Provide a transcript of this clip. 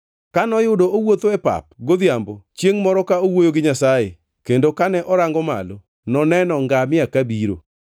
Ka noyudo owuotho e pap godhiambo chiengʼ moro ka owuoyo gi Nyasaye, kendo kane orango malo, noneno ngamia kabiro.